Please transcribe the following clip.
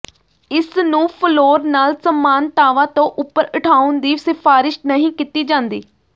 ਇਸ ਨੂੰ ਫਲੋਰ ਨਾਲ ਸਮਾਨਤਾਵਾ ਤੋਂ ਉੱਪਰ ਉਠਾਉਣ ਦੀ ਸਿਫਾਰਸ਼ ਨਹੀਂ ਕੀਤੀ ਜਾਂਦੀ